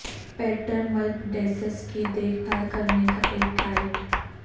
Peter ملپڈیسس کی دیکھ بھال کرنے کا ایک گائیڈ